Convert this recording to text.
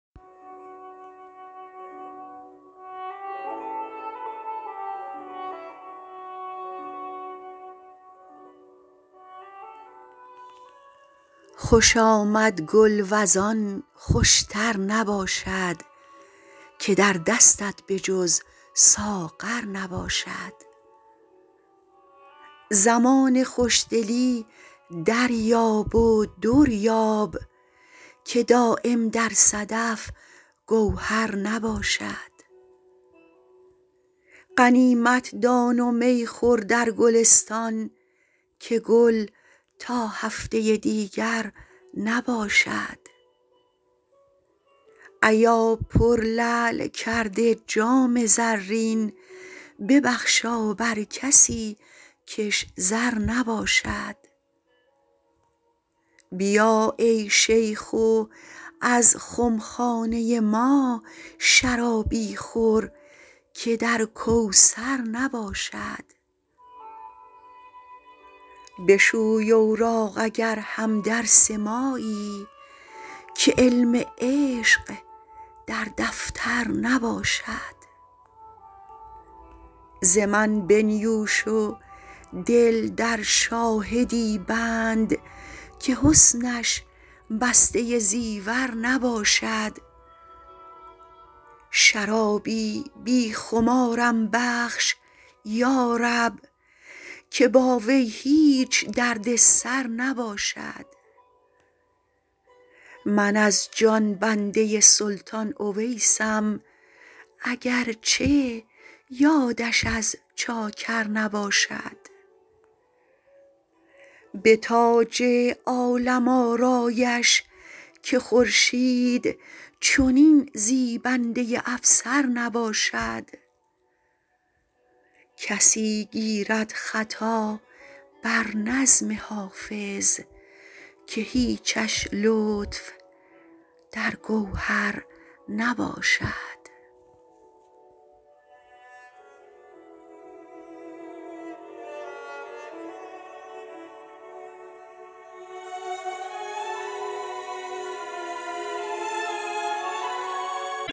خوش آمد گل وز آن خوش تر نباشد که در دستت به جز ساغر نباشد زمان خوش دلی دریاب و در یاب که دایم در صدف گوهر نباشد غنیمت دان و می خور در گلستان که گل تا هفته دیگر نباشد ایا پرلعل کرده جام زرین ببخشا بر کسی کش زر نباشد بیا ای شیخ و از خم خانه ما شرابی خور که در کوثر نباشد بشوی اوراق اگر هم درس مایی که علم عشق در دفتر نباشد ز من بنیوش و دل در شاهدی بند که حسنش بسته زیور نباشد شرابی بی خمارم بخش یا رب که با وی هیچ درد سر نباشد من از جان بنده سلطان اویسم اگر چه یادش از چاکر نباشد به تاج عالم آرایش که خورشید چنین زیبنده افسر نباشد کسی گیرد خطا بر نظم حافظ که هیچش لطف در گوهر نباشد